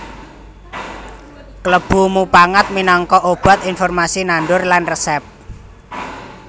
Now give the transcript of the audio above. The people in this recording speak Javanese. Klebu mupangat minangka obat informasi nandur lan resèp